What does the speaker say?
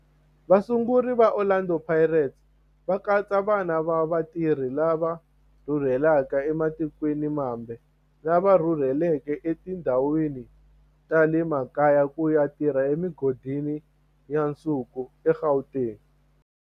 Vasunguri va Orlando Pirates va katsa vana va vatirhi lava rhurhelaka ematikweni mambe lava rhurheleke etindhawini ta le makaya ku ya tirha emigodini ya nsuku eGauteng.